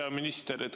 Hea minister!